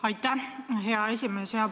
Aitäh, hea esimees!